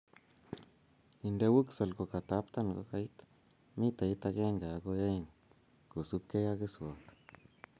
Inde wuxal kokataptan kokait mitait agenge agoi oeng kosubkei ak keswot